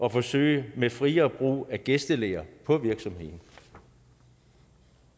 at forsøge med friere brug af gæstelærere på virksomheden